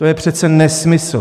To je přece nesmysl!